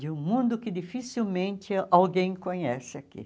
de um mundo que dificilmente alguém conhece aqui.